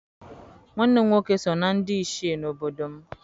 Nwanne m nwoke si na ndị Ichie n'obodo m.